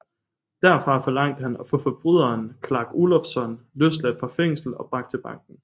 Derfra forlangte han at få forbryderen Clark Olofsson løsladt fra fængsel og bragt til banken